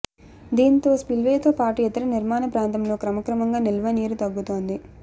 దీంతో స్పిల్వేతో పాటు ఇతర నిర్మాణ ప్రాంతంలో క్రమక్రమంగా నిల్వనీరు తగ్గుతోంది